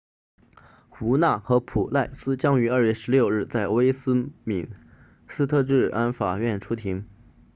胡纳和普赖斯将于2月16日在威斯敏斯特治安法院出庭